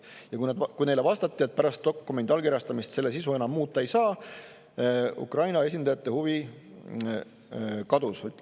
Ja kui neile vastati, et pärast dokumendi allkirjastamist selle sisu enam muuta ei saa, siis Ukraina esindajate huvi kadus.